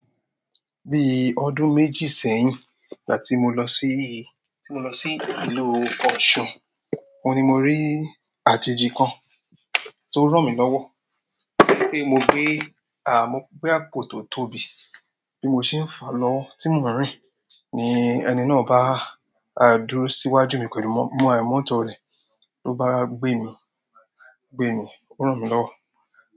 Bí ọdún méjì sẹ́yìn igbati mo lọ sí, tí mo lọ sí ìlú Ọ̀sun, oun ni mo rí àjèjì kan tó ràn mí lọ́wọ́ pé mo gbé àmọ́ pé boya koto bí mo ṣe ń fà lọ tí mò ń rìn ní ẹni náà bá dúró síwájú mi pẹ̀lú mọ̀, mọ́tọ̀ rẹ̀ ló bá gbé mi, gbé mi, ó ràn mí lọ́wọ́.